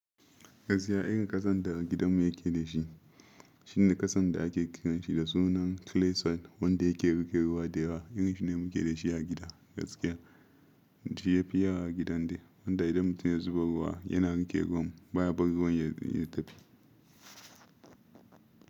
Gaskiya in ƙasan da gidanmu yake da shi shine ƙasan da ake kiranshi da sunan clay soil wanda yake riƙe ruwa da yawa. Yanxu ne muke da shi a gida gaskiya. Shi ya fiya wa a gidan de, wanda idan mutum ya zuba ruwa yana riƙe ruwan baya bar ruwan ya tafi.